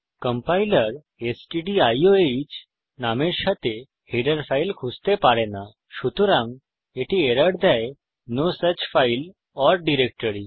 compiler stdio নামের সাথে header file খুঁজতে পারে না সুতরাং এটি এরর দেয় যে no such file or directory